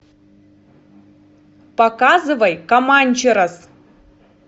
показывай команчерос